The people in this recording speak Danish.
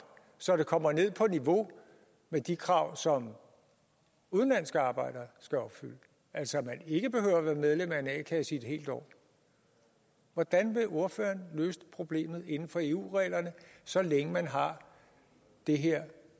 så det kommer ned på niveau med de krav som udenlandske arbejdere skal opfylde altså at man ikke behøver være medlem af en a kasse i et helt år hvordan vil ordføreren løse problemet inden for eu reglerne så længe man har det her